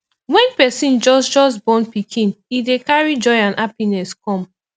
when person just just born pikin e dey carry joy and happiness come